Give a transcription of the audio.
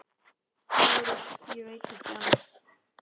LÁRUS: Ég veit ekki annað.